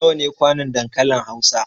Nawa ne kwanon dankalin Hausa?